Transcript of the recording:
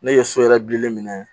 Ne ye so yɛrɛ bilen minɛ